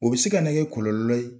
O bɛ se ka na kɛ kɔlɔlɔ ye